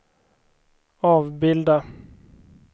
avbilda